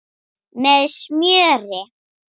Með smjöri.